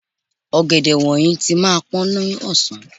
Ọ̀gẹ̀dẹ̀ wọ̀nyí tí máa pọ́n lọ́sàn-án.